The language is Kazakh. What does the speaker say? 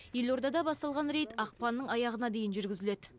елордада басталған рейд ақпанның аяғына дейін жүргізіледі